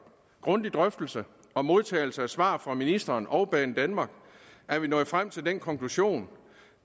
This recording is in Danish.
grundig drøftelse og modtagelse af svar fra ministeren og banedanmark er vi nået frem til den konklusion